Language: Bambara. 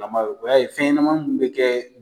o y'a ye fɛn ɲɛnama mun be kɛ